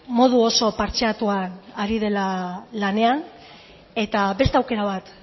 modu oso partxeatuan ari dela lanean beste aukera bat